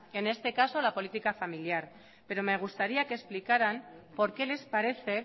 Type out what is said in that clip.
en este caso la política familiar pero me gustaría que explicaran por qué les parece